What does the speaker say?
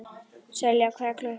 Selja, hvað er klukkan?